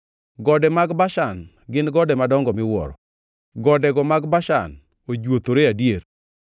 Gode mag Bashan gin gode madongo miwuoro; godego mag Bashan ojuothore adier.